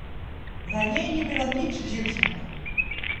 Na njej ni bilo nič živčnega!